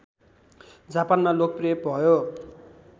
जापानमा लोकप्रिय भयो